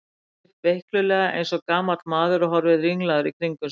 Hann reis upp veiklulega eins og gamall maður og horfði ringlaður í kringum sig.